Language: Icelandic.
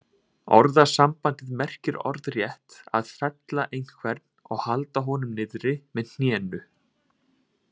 Orðasambandið merkir orðrétt að fella einhvern og halda honum niðri með hnénu.